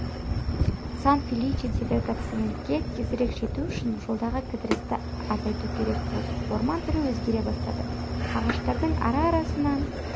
сан-феличедегі гациендке тезірек жету үшін жолдағы кідірісті азайту керек болды орман түрі өзгере бастады ағаштардың ара-арасынан